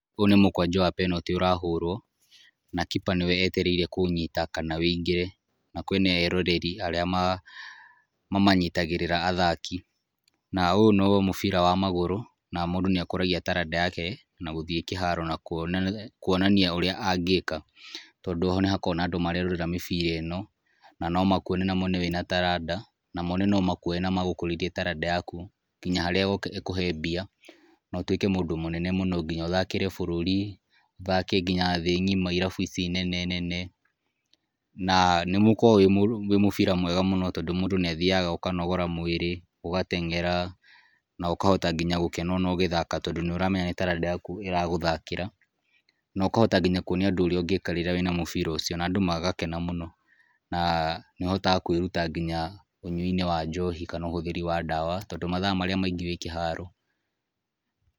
Ũyũ nĩ mũkwanjũ wa penalty ũrahũrũo, na kipa nĩwe etereire kũũnyita kana wĩingĩre. Na kwĩna eroreri arĩa mamanyitagĩrĩra athaki. Na ũũ no mũbira wa magũrũ, na mũndũ nĩ akũragia taranda yake, na gũthiĩ kĩharo na kuonania ũrĩa angĩka. Tondũ nĩhakoragwo na andũ marerorera mĩbira ĩno, na no makuone na mone wĩna taranda, na mone no makuoye na magũkũrĩrie taranda yaku ngika harĩa ĩkũhe mbia, na ũtuĩke mũndũ mũnene mũno. Nginya ũthakĩre bũrũri, ũthake nginya thĩ ng'ima irabu ici nene nene. Na nĩ mũkorogwo wĩ mũbira mwega mũno, tondũ mũndũ nĩathiaga ũkanogora mwĩrĩ, ũgateng'era, na ũkahota nginya ona gũkena ngina ũgĩthaka tondũ nĩ ũramenya nĩ taranda yaku ĩragũthakĩra. Na ũkahota nginya kuonia andũ ũrĩa ũngĩka rĩrĩa wĩna mũbira ũcio na andũ magakena mũno. Na nĩ ũhotataga kwĩruta nginya ũnyui-inĩ wa njohi kana ũhũthĩri wa ndawa, tondũ mathaa marĩa maingĩ wĩ kĩharo.